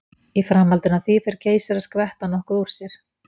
Í framhaldinu af því fer Geysir að skvetta nokkuð úr sér.